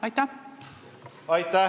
Aitäh!